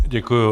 Děkuji.